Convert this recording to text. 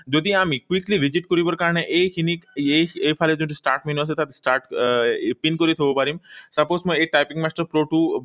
যদিহে আমি quickly visit কৰিবৰ কাৰণে এইখিনি এইফালে যোনটো start menu আছে, তাত pin কৰি থব পাৰিম। Suppose মই এই typing master pro টো